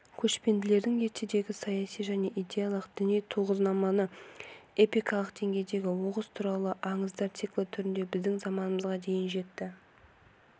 көшпенділердің ертедегі саяси және идеялық діни тұғырнамасы эпикалық деңгейдегі оғыз туралы аңыздар циклі түрінде біздің заманымызға дейін жетті